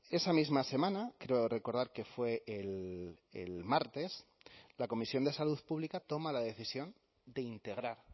esa misma semana creo recordar que fue el martes la comisión de salud pública toma la decisión de integrar